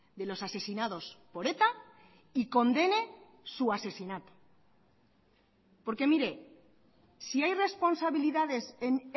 de los asesinados por eta y condene su asesinato porque mire si hay responsabilidades en